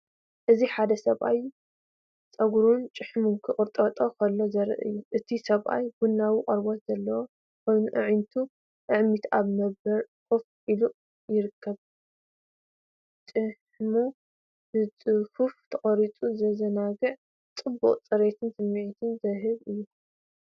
እዚ ሓደ ሰብኣይ ጸጉሩን ጭሕሙን ክቕንጥጥ ከሎ ዘርኢ እዩ። እቲ ሰብኣይ ቡናዊ ቆርበት ዘለዎ ኮይኑ፡ ኣዒንቱ ዓሚቱ ኣብ መንበር ኮፍ ኢሉ ይርከብ። ጭሕሙ ብጽፉፍ ተቖሪጹ። ዘዘናግዕን ጽቡቕ ጽሬትን ስምዒት ዝህብ እዩ።